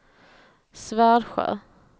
Svärdsjö